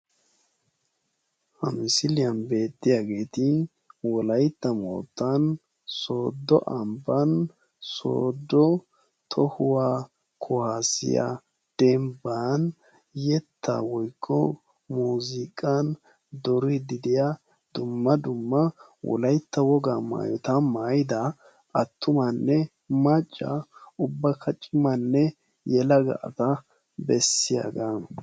Ha misiliyan beettiyaageeti wolaytta moottan soodo ambban, sooddo tohuwa kuwassiyaa dembban yetta woykko muuziqqan duridi diya dumma dumma wolaytta woga maayyota maayyida attumanne macca, ubbakka cimanne yelaga asaa bessiyaaga.